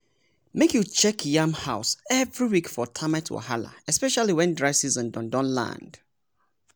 make you check yam house every week for termite wahala especially when dry season don don land.